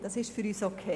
Das ist für uns okay.